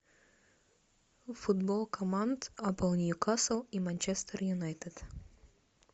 футбол команд апл ньюкасл и манчестер юнайтед